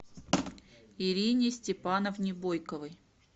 ирине степановне бойковой